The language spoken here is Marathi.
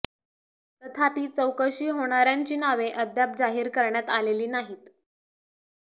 तथापि चौकशी होणाऱयांची नावे अद्याप जाहीर करण्यात आलेली नाहीत